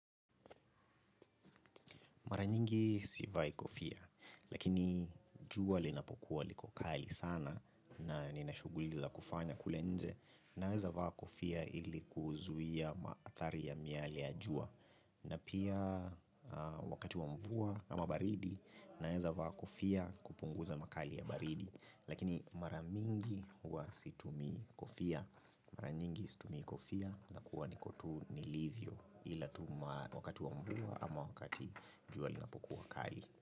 Mara nyingi sivai kofia, lakini jua linapokuwa liko kali sana na nina shughuli za kufanya kule nje. Naeza vaa kofia ili kuzuia maadhari ya miale ya jua. Na pia wakati wa mvua ama baridi, naeza vaa kofia kupunguza makali ya baridi. Lakini mara mingi huwa situmii kofia. Mara nyingi situmii kofia nakuwa niko tu nilivyo. Ila tu wakati wa mvua ama wakati jua linapokuwa kali.